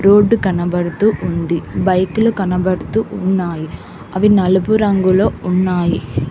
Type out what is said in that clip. Road కనబడుతు ఉంది బైకులు కనబడుతూ ఉన్నాయి అవి నలుపు రంగులొ ఉన్నాయి.